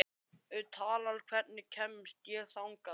Tala, hvernig kemst ég þangað?